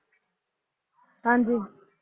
ਹਾਂਜੀ